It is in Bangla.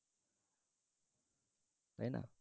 তাই না?